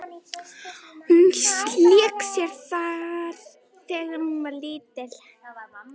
Hún lék sér þar sjálf þegar hún var lítil.